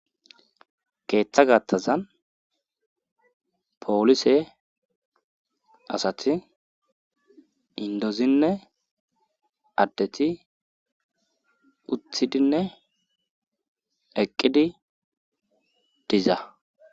Keeththa gattazan poolise asati indozinne addeti uthidinne eqqidi diza.